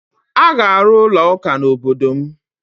A ga-arụ ụlọụka n'obodo m